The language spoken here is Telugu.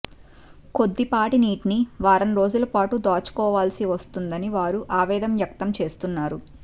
కొద్దిపాటి నీటిని వారం రోజుల పాటు దాచుకోవల్సి వస్తుందని వారు ఆవేదన వ్యక్తం చేస్తున్నారు